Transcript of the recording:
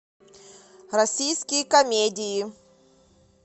российские комедии